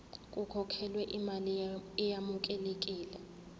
kukhokhelwe imali eyamukelekile